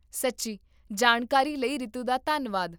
ਸੱਚੀ ਜਾਣਕਾਰੀ ਲਈ ਰੀਤੂ ਦਾ ਧੰਨਵਾਦ